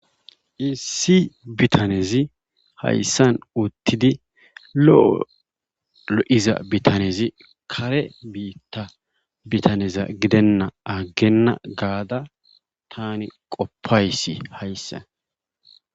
Issi bitanezi hayssan uttidi lo'o lo'iza bitanezi kare biita gidenna agena gaada taani qofaysi hayssa.